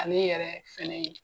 Ale yɛrɛ fɛnɛ ye.